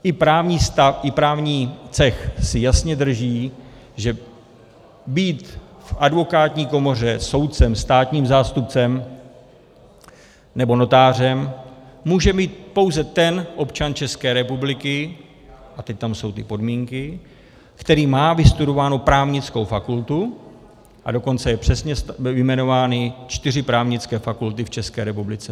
I právní cech si jasně drží, že být v advokátní komoře, soudcem, státním zástupcem nebo notářem může být pouze ten občan České republiky, a teď tam jsou ty podmínky, který má vystudovánu právnickou fakultu, a dokonce jsou přesně vyjmenovány čtyři právnické fakulty v České republice.